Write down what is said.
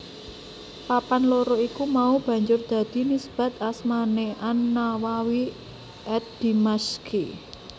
Papan loro iku mau banjur dadi nisbat asmané an Nawawi ad Dimasyqi